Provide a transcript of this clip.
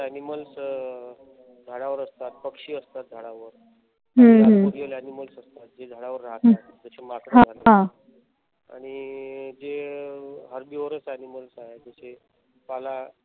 animals झाडावर असतात. पक्षी असतात झाडावर जे aniamals असतात जे झाडावर राहतात. जसे माकड असतात झाडावर आणि जे harbours animal आहेत जसे पाला